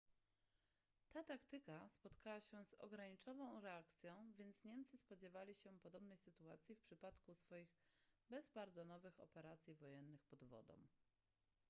ta taktyka spotkała się z ograniczoną reakcją więc niemcy spodziewali się podobnej sytuacji w przypadku swoich bezpardonowych operacji wojennych pod wodą